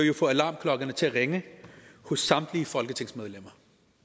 jo få alarmklokkerne til at ringe hos samtlige folketingsmedlemmer